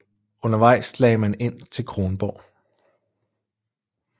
Undervejs lagde man ind til Kronborg